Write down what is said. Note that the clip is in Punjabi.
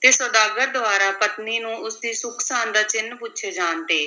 ਤੇ ਸੁਦਾਗਰ ਦੁਆਰਾ ਪਤਨੀ ਨੂੰ ਉਸ ਦੀ ਸੁੱਖ-ਸਾਂਦ ਦਾ ਚਿੰਨ੍ਹ ਪੁੱਛੇ ਜਾਣ ਤੇ